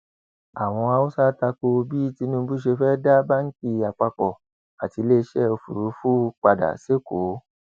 àwọn haúsá ta ko bí tinubu ṣe fẹẹ dá báǹkì àpapọ àti iléeṣẹ òfúrufú padà sẹkọọ